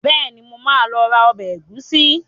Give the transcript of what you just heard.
Bẹ́ẹ̀ni, mo máa lọ ra ọbẹ̀ ẹ̀gúsí.